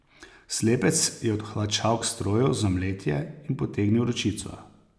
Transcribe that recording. Slepec je odhlačal k stroju za mletje in potegnil ročico.